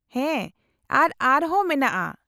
-ᱦᱮᱸ ᱟᱨ ᱟᱨᱦᱚᱸ ᱢᱮᱱᱟᱜᱼᱟ ᱾